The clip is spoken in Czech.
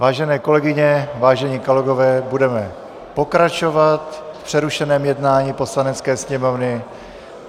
Vážené kolegyně, vážení kolegové, budeme pokračovat v přerušeném jednání Poslanecké sněmovny.